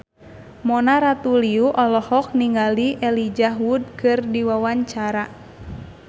Mona Ratuliu olohok ningali Elijah Wood keur diwawancara